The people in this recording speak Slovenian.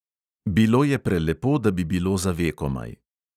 Bilo je prelepo, da bi bilo za vekomaj.